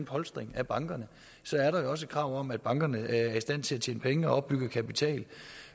polstring af bankerne så er der jo også et krav om at bankerne er i stand til at tjene penge og opbygge kapital det